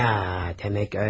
Ya, demək elə.